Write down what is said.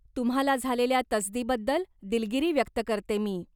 तुम्हाला झालेल्या तसदीबद्दल दिलगिरी व्यक्त करते मी.